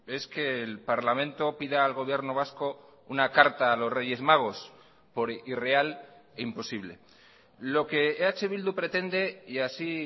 es que el parlamento pida al gobierno vasco una carta a los reyes magos por irreal e imposible lo que eh bildu pretende y así